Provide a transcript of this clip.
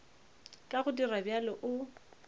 ka go dira bjalo o